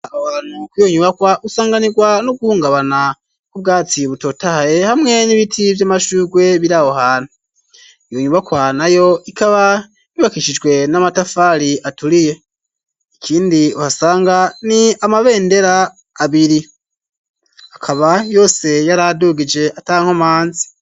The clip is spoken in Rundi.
Kwiyo unyubakwa usanganirwa no guhungabana k'ubwatsi butotaye hamwe n'ibiti by'amashugwe birahohantu iyonyubakwa nayo ikaba bibakishijwe n'amatafari aturiye ikindi uhasanga ni amabendera abiri akaba yose yaradugije ata nkomanzi.